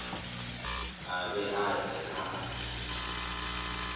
a be a tle a